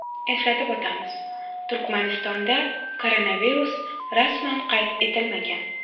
Eslatib o‘tamiz, Turkmanistonda koronavirus rasman qayd etilmagan.